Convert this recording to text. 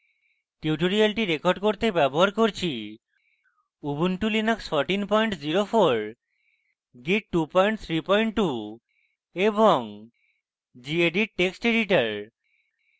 tutorial record করতে ব্যবহার করছি